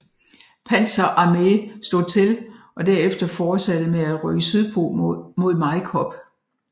Panzer Arme slog til og derefter fortsatte med at rykke sydpå mod Majkop